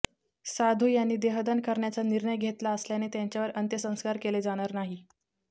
साधू यांनी देहदान करण्याचा निर्णय घेतला असल्याने त्यांच्यावर अंत्यसंस्कार केले जाणार नाही